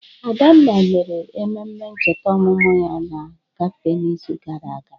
Adanna mere ememe ncheta ọmụmụ ya na kafe n'izu gara aga.